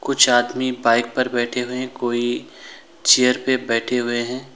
कुछ आदमी बाइक पर बैठे हुए कोई चेयर पर बैठे हुए हैं।